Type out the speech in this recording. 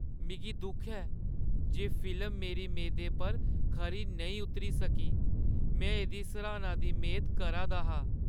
मिगी दुख ऐ जे फिल्म मेरी मेदें पर खरी नेईं उतरी सकी। में एह्‌दी सराह्‌ना दी मेद करा दा हा।